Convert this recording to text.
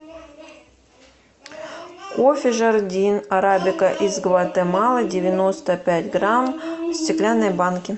кофе жардин арабика из гватемалы девяносто пять грамм в стеклянной банке